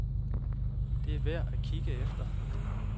Det er værd at kigge efter.